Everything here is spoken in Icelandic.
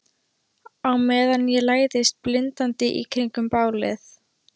Á meðan ég læðist blindandi í kringum bálið.